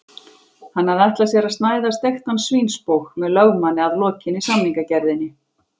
Hann hafði ætlað sér að snæða steiktan svínsbóg með lögmanni að lokinni samningagerðinni.